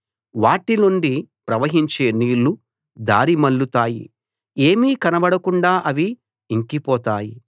వాటి నుండి ప్రవహించే నీళ్ళు దారి మళ్ళుతాయి ఏమీ కనబడకుండా అవి ఇంకిపోతాయి